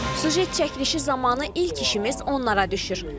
Süjet çəkilişi zamanı ilk işimiz onlara düşür.